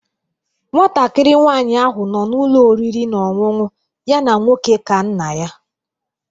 Nwatakịrị nwanyị ahụ nọ n'ụlọ oriri na ọṅụṅụ ya na nwoke ka nna ya